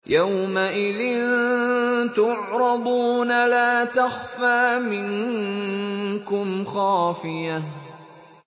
يَوْمَئِذٍ تُعْرَضُونَ لَا تَخْفَىٰ مِنكُمْ خَافِيَةٌ